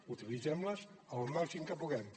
utilitzem les el màxim que puguem